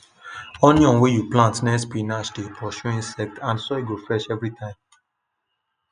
onion wey you plant near spinach dey pursue insects and soil go fresh every time